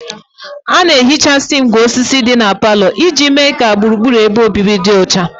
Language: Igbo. A na-ehichasị ngwá osisi ndị dị na parlour iji mee ka gburugburu ebe obibi dị ọcha